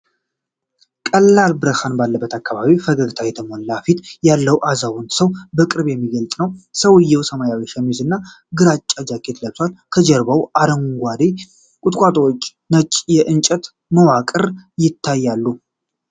ቀላል ብርሃን ባለበት አካባቢ ፈገግታ የሞላበት ፊት ያለው አዛውንት ሰው በቅርብ የሚገልጽ ነው። ሰውየው ሰማያዊ ሸሚዝ እና ግራጫ ጃኬት ለብሷል። ከጀርባው አረንጓዴ ቁጥቋጦዎችና ነጭ የእንጨት መዋቅር ይታያሉ።